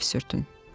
Ağ neft sürtün.